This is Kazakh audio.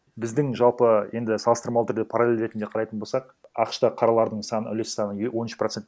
біздің жалпы енді салыстырмалы түрде параллель ретінде қарайтын болсақ ақш та қаралардың саны үлес саны он үш процент